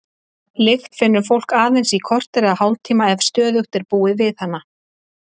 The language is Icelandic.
Lykt finnur fólk aðeins í korter eða hálftíma ef stöðugt er búið við hana.